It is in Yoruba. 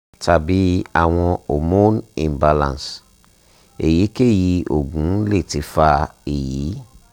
tabi awọn homonu imbalance / eyikeyi oògùn le ti fa eyi